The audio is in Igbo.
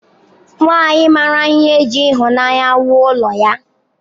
Nwanyị mara ihe ji ịhụnanya wuo ụlọ ya.